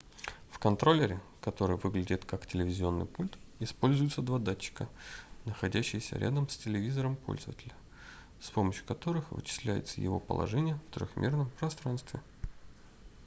в контроллере который выглядит как телевизионный пульт используются два датчика находящиеся рядом с телевизором пользователя с помощью которых вычисляется его положение в трёхмерном пространстве